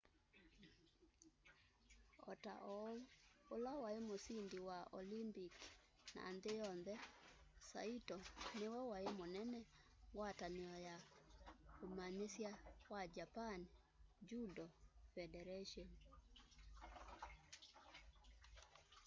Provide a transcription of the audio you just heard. ota oũ ũla waĩ mũsĩndĩ wa olympik na nthĩ yonthe saĩto nĩwe waĩ mũnene ngwatanĩo ya ũmanyĩsya wa japan judo fedaratĩon